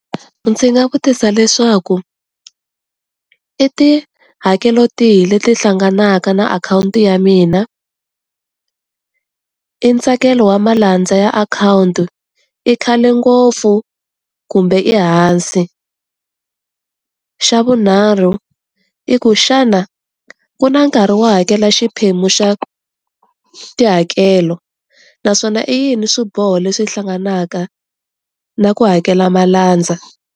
Ndzi nga vutisa leswaku i tihakelo tihi leti hlanganaka na akhawunti ya mina, i ntsakelo wa malandza ya akhawuntu i khale ngopfu kumbe ehansi, xa vunharhu i ku xana ku na nkarhi wo hakela xiphemu xa tihakelo naswona i yini swiboho leswi hlanganaka na ku hakela malandza.